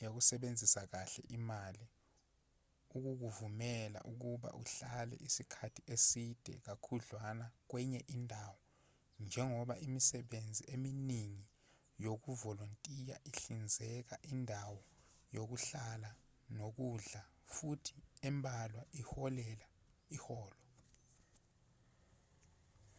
yokusebenzisa kahle imali ukukuvumela ukuba uhlale isikhathi eside kakhudlwana kwenye indawo njengoba imisebenzi eminingi yokuvolontiya ihlinzeka indawo yokuhlala nokudla futhi embalwa iholela iholo